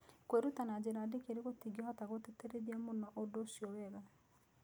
Kwĩruta na njĩra ndikĩru tũtingĩhotagũtĩtĩrithia mũno ũndũ ũcio wega.